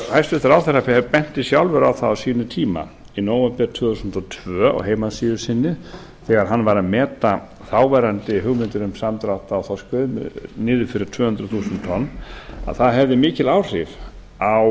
hæstvirtur ráðherra benti sjálfur á það á sínum tíma í nóvember tvö þúsund og tvö á heimasíðu sinni þegar hann var að meta þáverandi hugmyndir um samdrátt á þorskveiðum niður fyrir tvö hundruð þúsund tonn að það hefði mikil áhrif á